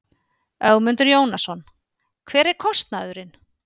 Ögmundur Jónasson: Hver er kostnaðurinn?